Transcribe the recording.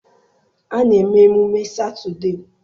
A na-eme emume Satọdee.